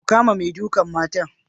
Ku kama mai dukan matan.